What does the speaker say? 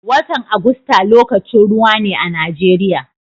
Watan Agusta lokacin ruwa ne a Najeriya.